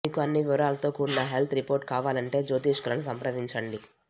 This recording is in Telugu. మీకు అన్ని వివరాలతో కూడిన హెల్త్ రిపోర్టు కావాలంటే జ్యోతిష్కులను సంప్రదించండి